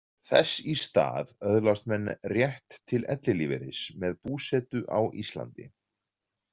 Þess í stað öðlast menn rétt til ellilífeyris með búsetu á Íslandi.